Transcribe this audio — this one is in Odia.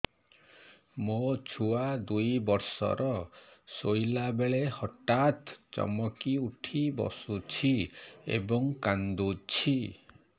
ମୋ ଛୁଆ ଦୁଇ ବର୍ଷର ଶୋଇଲା ବେଳେ ହଠାତ୍ ଚମକି ଉଠି ବସୁଛି ଏବଂ କାଂଦୁଛି